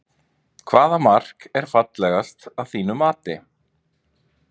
Hvaða mark er fallegast að þínu mati?